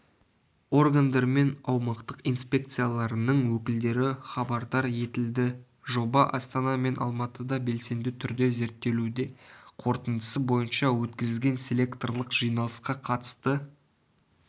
органдар мен аумақтық инспекцияларының өкілдері хабардар етілді жоба астана мен алматыда белсенді түрде зерттелуде қорытындысы бойынша өткізілген селекторлық жиналысқа қатысты